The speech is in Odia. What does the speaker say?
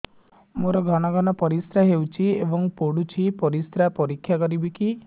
ମୋର ଘନ ଘନ ପରିସ୍ରା ହେଉଛି ଏବଂ ପଡ଼ୁଛି ପରିସ୍ରା ପରୀକ୍ଷା କରିବିକି